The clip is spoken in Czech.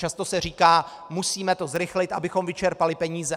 Často se říká - musíme to zrychlit, abychom vyčerpali peníze.